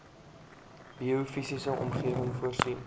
biofisiese omgewing voorsien